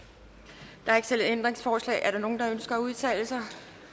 ændringsforslag er der nogen der ønsker at udtale sig